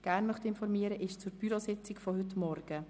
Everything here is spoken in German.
Die zweite Information betrifft die Bürositzung von heute Morgen.